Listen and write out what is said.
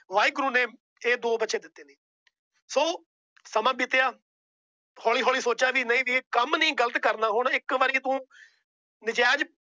ਵਾਹਿਗੁਰੂ ਨੇ ਇਹ ਦੋ ਬੱਚੇ ਦਿੱਤੇ। ਸਮਾਂ ਬੀਤਿਆਂ ਹੋਲੀ ਹੋਲੀ ਸੋਚਿਆ ਵੀ ਕੰਮ ਨਹੀਂ ਗ਼ਲਤ ਕਰਨਾ। ਹੁਣ ਇਕ ਵਾਰ ਤੂੰ ਨਾਜਾਇਜ਼